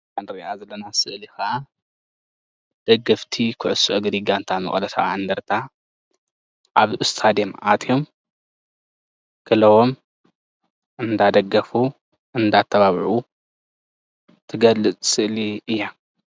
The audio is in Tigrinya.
እዚ ንሪኦ ዘለና ስእሊ ደገፍቲ ኩዕስ እግሪ መቀለ 70 እንደርታ ኣብ ስታዲዬም አትዮም ክለው እናደገፍ እናጣቅዑ ትገልፅ ስእሊ እያ።